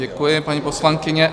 Děkuji, paní poslankyně.